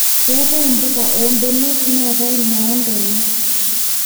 keetae mbuka oo mbenek neetae noo ntona